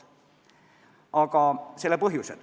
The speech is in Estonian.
Natuke selle põhjustest.